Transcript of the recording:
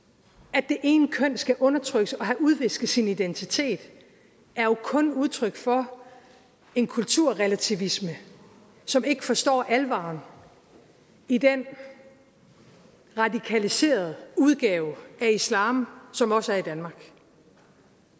at det ene køn skal undertrykkes og have udvisket sin identitet er jo kun udtryk for en kulturrelativisme som ikke forstår alvoren i den radikaliserede udgave af islam som også er i danmark